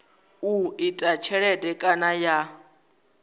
u ita tshelede kana ya